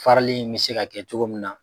Farali in bɛ se ka kɛ cogo min na.